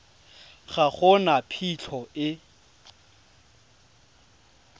ga go na phitlho e